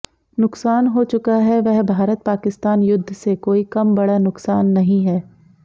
नुकसान हो चुका है वह भारत पाकिस्तान युद्ध से कोई कम बड़ा नुकसान नहीं है